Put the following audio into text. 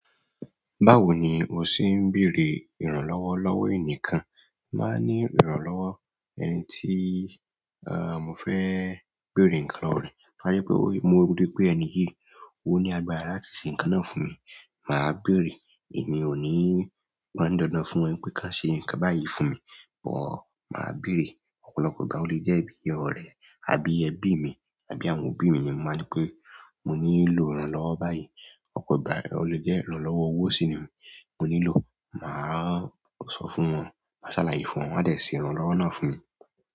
Báwo ni o ṣe ń bèrè ìrànlọ́wọ́ lọ́wọ́ ẹnì kan? Máa ní ìrànlọ́wọ́ ẹni tí mo fẹ́ bèrè ǹkan lọ̀wọ̀ re to ba je pé mo rí pé ẹni yìí o ní agbára láti ṣe ǹkan náà fún mi. Mà á bèrè. Èmi ò ní pan ni dandan fún wọn pé kán ṣe ǹkan báyìí fún mi, but mà á bèrè. Ọ̀pọ̀lọpọ̀ ìgbà o lè jẹ́ bí ọ̀rẹ́ àbí ẹbí mi àbí àwọn òbí mi ni mo máa ńi pé mo nílò ìrànlọ́wọ́ báyìí. Ọ̀pọ̀ ìgbà o lè jẹ́ ìrànlọ́wọ́ owó sì ni mo nílò. Mà á sọ fún wọn, mà á ṣàlàyé fún wọn, wọ́n á de se ìrànlọ́wọ́ náà fún mi.